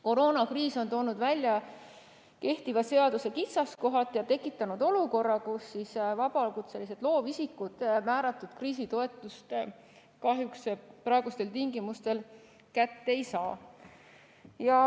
Koroonakriis on toonud välja kehtiva seaduse kitsaskohad ja tekitanud olukorra, kus vabakutselised loovisikud määratud kriisitoetust kahjuks praegustel tingimustel kätte ei saa.